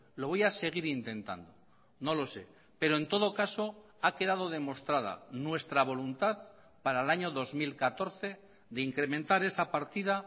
lo voy a seguir intentando no lo sé pero en todo caso ha quedado demostrada nuestra voluntad para el año dos mil catorce de incrementar esa partida